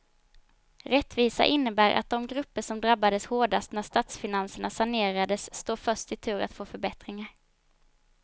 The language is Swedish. Rättvisa innebär att de grupper som drabbades hårdast när statsfinanserna sanerades står först i tur att få förbättringar.